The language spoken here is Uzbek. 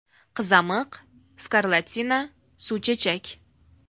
Qizamiq, skarlatina, suvchechak.